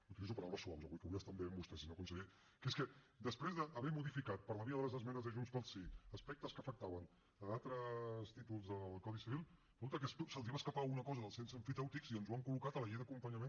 utilitzo paraules suaus avui que vull estar bé amb vostè senyor conseller que és que després d’haver modificat per la via de les esmenes de junts pel sí aspectes que afectaven altres títols del codi civil resulta que se’ls va escapar una cosa del cens emfitèutic i ens ho ha col·locat a la llei d’acompanyament